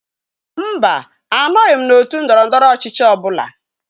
Mba, anọghi m n'otu ndọrọndọrọ ọchịchị ọ bụla.